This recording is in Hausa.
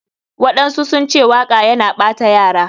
Waɗansu sunce waka yana ɓata yara.